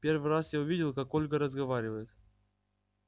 первый раз я увидел как ольга разговаривает